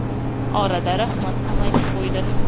Orada rahmat ham aytib qo‘ydi.